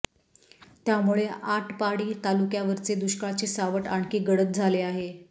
त्यामुळे आटपाडी तालुक्यावरचे दुष्काळाचे सावट आणखी गडद झाले आहे